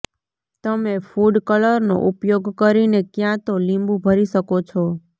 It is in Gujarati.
તમે ફૂડ કલરનો ઉપયોગ કરીને ક્યાં તો લીંબું ભરી શકો છો